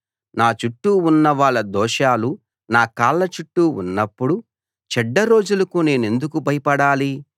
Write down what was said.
నా చుట్టూ ఉన్నవాళ్ళ దోషాలు నా కాళ్ళ చుట్టూ ఉన్నప్పుడు చెడ్డ రోజులకు నేనెందుకు భయపడాలి